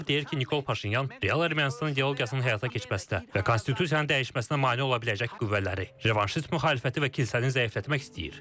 Ekspertlər deyir ki, Nikol Paşinyan real Ermənistan ideologiyasının həyata keçməsinə və konstitusiyanın dəyişməsinə mane ola biləcək qüvvələri, revanşist müxalifəti və kilsəni zəiflətmək istəyir.